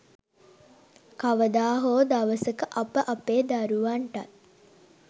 කවදා හෝ දවසක අප අපේ දරුවන්ටත්